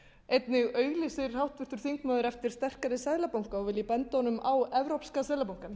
einnig auglýsti háttvirtur þingmaður eftir sterkari seðlabanka og vil ég benda honum á evrópska seðlabankann